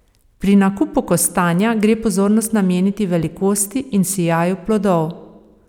Pri nakupu kostanja gre pozornost nameniti velikosti in sijaju plodov.